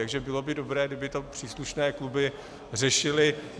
Takže bylo by dobré, kdyby to příslušné kluby řešily.